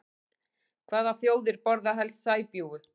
Hvaða þjóðir borða helst sæbjúgu?